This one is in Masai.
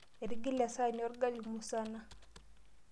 Etigile esahani orgali musana.